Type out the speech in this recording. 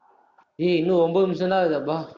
ஏய், இன்னும் ஒன்பது நிமிஷம்தான் இருக்குதப்பா